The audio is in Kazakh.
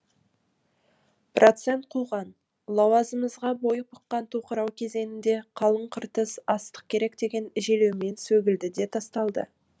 процент қуған лауазымға бой бұққан тоқырау кезеңінде қалың қыртыс астық керек деген желеумен сөгілді де тасталды